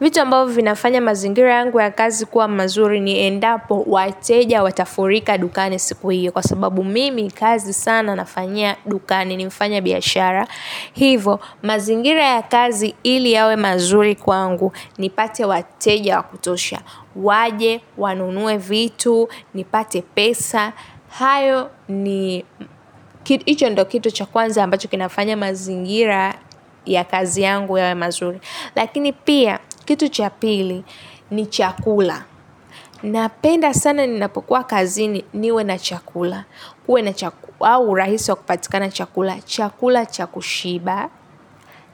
Vitu ambavyo vinafanya mazingira yangu ya kazi kuwa mazuri niendapo wateja watafurika dukani siku hiyo kwa sababu mimi kazi sana nafanyia dukani ni mfanya biashara. Hivo mazingira ya kazi ili yawe mazuri kwangu nipate wateja wakutosha. Waje, wanunue vitu, ni pate pesa. Hayo ni hicho ndo kitu cha kwanza ambacho kinafanya mazingira ya kazi yangu yawe mazuri. Lakini pia kitu cha pili ni chakula. Napenda sana ninapokuwa kazini niwe na chakula. Au urahisi wa kupatikana chakula, chakula cha kushiba.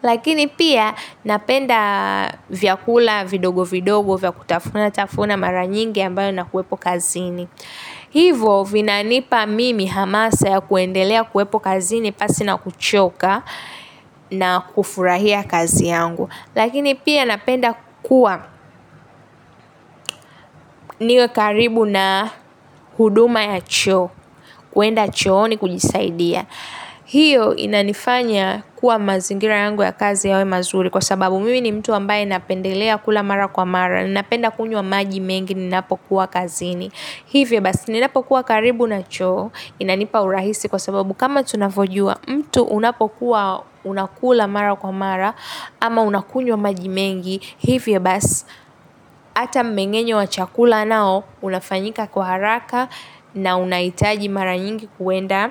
Lakini pia napenda vyakula vidogo vidogo, vya kutafuna, tafuna mara nyingi ambayo nakuwepo kazini. Hivo vinanipa mimi hamasa yakuendelea yakuwepo kazini pasi na kuchoka na kufurahia kazi yangu lakini pia napenda kuwa niwe karibu na huduma ya choo kwenda chooni kujisaidia hio inanifanya kuwa mazingira yangu ya kazi yawe mazuri kwa sababu mimi ni mtu ambaye napendelea kula mara kwa mara napenda kunywa maji mengi ninapokuwa kazini hivyo basi ninapokuwa karibu na choo inanipa urahisi kwa sababu kama tunavojua mtu unapokuwa nakula mara kwa mara ama unakunywa maji mengi hivyo basi hata mmengenyo wa chakula nao unafanyika kwa haraka na unahitaji mara nyingi kwenda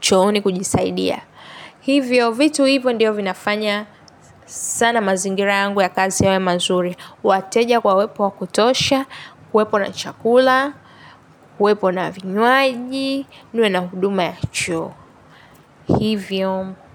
chooni kujisaidia hivyo vitu hivyo ndio vinafanya sana mazingira yangu ya kazi yawe mazuri wateja kwa wepo wakutosha, wepo na chakula, wepo na vinywaji, niwe na huduma ya choo. Hivyo.